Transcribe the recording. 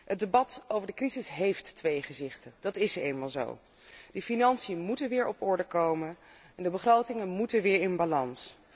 Het debat over de crisis heeft twee gezichten, dat is nu eenmaal zo. De financiën moeten weer op orde komen en de begrotingen moeten weer in balans.